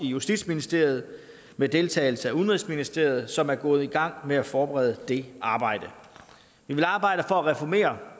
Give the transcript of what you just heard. i justitsministeriet med deltagelse af udenrigsministeriet som er gået i gang med at forberede det arbejde vi vil arbejde for at reformere